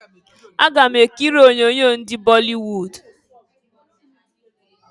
Aga m ekiri onyoonyo ndị bọlịwud.